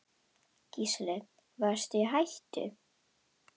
Gísli: Varstu í hættu?